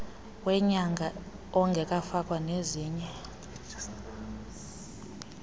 wenyanga ongekafakwa ezinye